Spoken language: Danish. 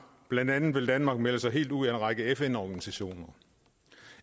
blandt andet vil danmark melde sig helt ud af en række fn organisationer